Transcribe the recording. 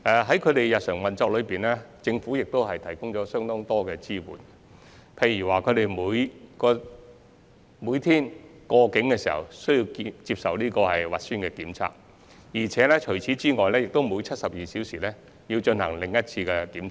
在他們的日常運作中，政府亦提供相當多支援，例如他們每天首次過境時需接受核酸檢測，並需每隔72小時進行另一次檢測。